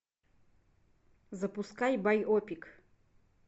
запускай байопик